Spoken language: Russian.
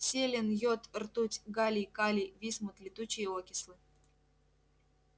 селен йод ртуть галлий калий висмут летучие окислы